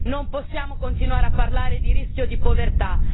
Non possiamo continuare a parlare di rischio di povertà.